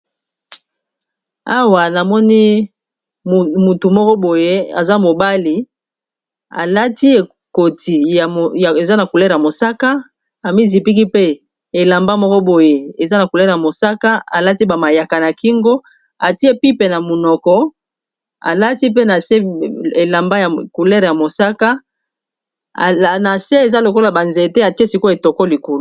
Awa na moni mutu moko boye aza mobali alati ekoti ea na coulere ya mosaka, a mi zipiki pe elamba moko boy alati ba mayaka na kingo atie pipe na munoko alati pe na se eza lokola banzete atie siko etoko likulu.